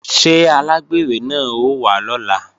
Ṣé alágbèrè náà ó wá lọ́la?